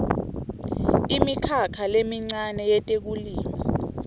imikhakha lemincane yetekulima